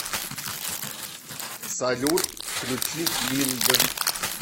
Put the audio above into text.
салют включи минд